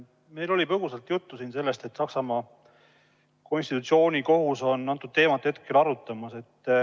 Meil oli põgusalt juttu siin sellest, et Saksamaa konstitutsioonikohus on antud teemat arutamas.